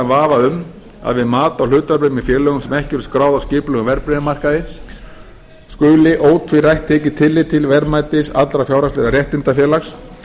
vafa um að við mat á hlutabréfum í félögum sem ekki eru skráð á skipulegum verðbréfamarkaði skuli ótvírætt tekið tillit til verðmætis allra fjárhagslegra réttinda félags